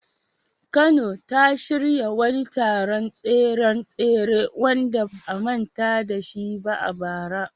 Kano ta shirya wani taron tseren tsere wanda ba a manta da shi ba a bara.